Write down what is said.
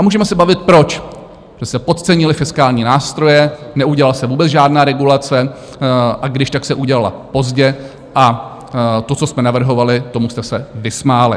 A můžeme se bavit, proč, že se podcenily fiskální nástroje, neudělala se vůbec žádná regulace, a když, tak se udělala pozdě, a to, co jsme navrhovali, tomu jste se vysmáli.